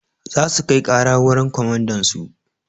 Za su kai ƙara wurin komandansu.